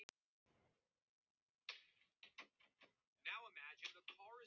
Undrandi andlitið verður rautt og þrútið.